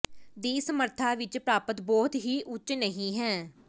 ਦੀ ਸਮਰੱਥਾ ਵਿਚ ਪ੍ਰਾਪਤ ਬਹੁਤ ਹੀ ਉੱਚ ਨਹੀ ਹੈ